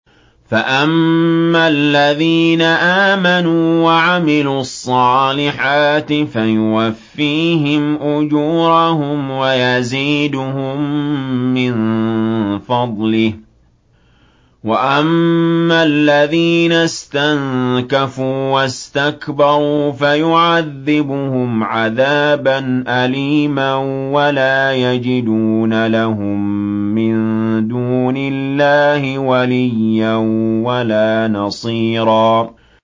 فَأَمَّا الَّذِينَ آمَنُوا وَعَمِلُوا الصَّالِحَاتِ فَيُوَفِّيهِمْ أُجُورَهُمْ وَيَزِيدُهُم مِّن فَضْلِهِ ۖ وَأَمَّا الَّذِينَ اسْتَنكَفُوا وَاسْتَكْبَرُوا فَيُعَذِّبُهُمْ عَذَابًا أَلِيمًا وَلَا يَجِدُونَ لَهُم مِّن دُونِ اللَّهِ وَلِيًّا وَلَا نَصِيرًا